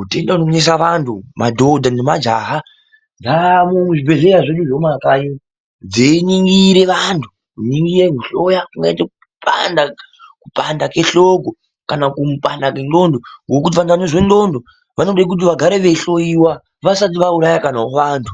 utenda unonesa vanhu madhodha nemajaha dzaamo muzvibhehleya zvedu zvemumakanyi dzeiningire vanhu kuningire kuhloya kungaite kupanda kwehloko kana kupanda kwenxlondo ngekuti vanhu vanozwe nxlondo vanode kuti vagare veihloyiwa vasati vauraye kana vovantu.